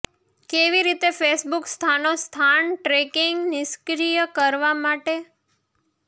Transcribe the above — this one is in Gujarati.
કેવી રીતે ફેસબુક સ્થાનો સ્થાન ટ્રેકિંગ નિષ્ક્રિય કરવા માટે